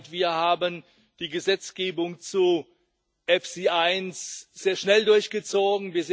Wir haben die Gesetzgebung zu EFSI sehr schnell durchgezogen.